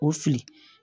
O fili